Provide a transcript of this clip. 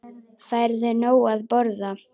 Færðu nóg að borða?